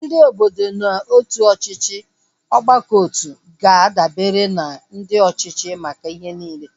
Ndị obodo na otu ọchịchị ọgbakọotu ga-adabere na ndị ọchịchị maka ihe niile